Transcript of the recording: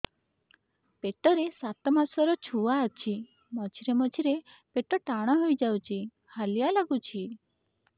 ପେଟ ରେ ସାତମାସର ଛୁଆ ଅଛି ମଝିରେ ମଝିରେ ପେଟ ଟାଣ ହେଇଯାଉଚି ହାଲିଆ ଲାଗୁଚି